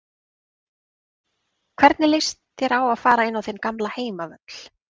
Hvernig lýst þér á að fara á þinn gamla heimavöll?